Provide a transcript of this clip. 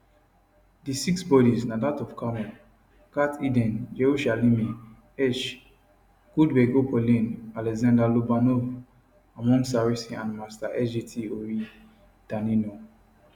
di six bodis na dat of carmel gat eden yerushalmi hersh goldbergpolin alexander lobanov almog sarusi and master sgt ori danino